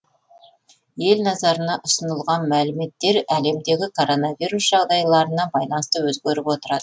ел назарына ұсынылған мәліметтер әлемдегі коронавирус жағдайларына байланысты өзгеріп отырады